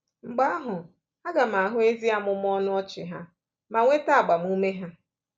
Mgbe ahụ aga m ahụ ezi amụmụ ọnụ ọchị ha ma nweta agbamume ha.